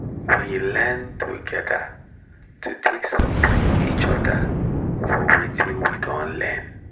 we learn together to take support each other for watin we don learn